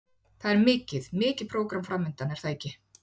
Það er mikið, mikið prógram framundan er það ekki?